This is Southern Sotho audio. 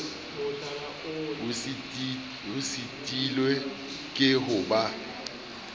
o sitilwe ke ho ba